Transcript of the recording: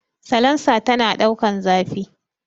Salansa tana ɗaukan zafi